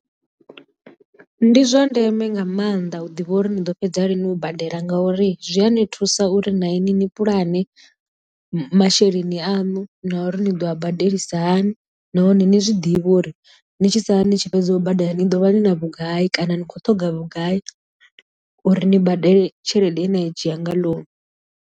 Ndi zwa ndeme nga maanḓa u ḓivha uri ni ḓo fhedza lini u badela ngauri zwi a ni thusa uri na ini ni pulane masheleni aṋu na uri ni ḓo a badelisa hani nahone ni zwiḓivhe uri ni tshi sala ni tshi fhedza u badela ni ḓovha ni na vhugai kana ni khou ṱhoga vhugai uri ni badele tshelede yena i dzhia nga loan.